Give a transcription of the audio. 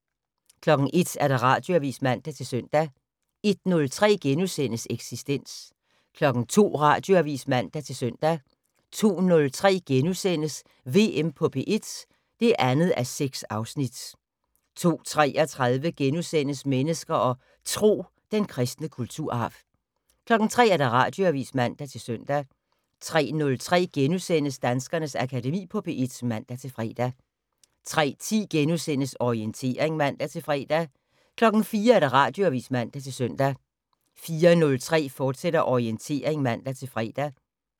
01:00: Radioavis (man-søn) 01:03: Eksistens * 02:00: Radioavis (man-søn) 02:03: VM på P1 (2:6)* 02:33: Mennesker og Tro: Den kristne kulturarv * 03:00: Radioavis (man-søn) 03:03: Danskernes Akademi på P1 *(man-fre) 03:10: Orientering *(man-fre) 04:00: Radioavis (man-søn) 04:03: Orientering, fortsat (man-fre)